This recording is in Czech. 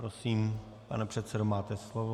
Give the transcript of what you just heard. Prosím, pane předsedo, máte slovo.